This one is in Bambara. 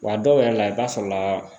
Wa dɔw yɛrɛ la i b'a sɔrɔ la